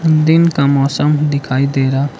दिन का मौसम दिखाई दे रहा--